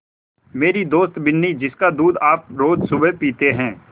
मेरी दोस्त बिन्नी जिसका दूध आप रोज़ सुबह पीते हैं